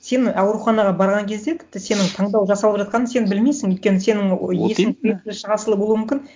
сен ауруханаға барған кезде тіпті сенің таңдау жасалып жатқанын сен білмейсің өйткені сенің вот именно болуы мүмкін